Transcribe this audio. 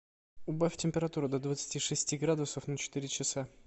убавь температуру до двадцати шести градусов на четыре часа